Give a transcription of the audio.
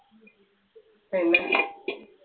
പിന്നെ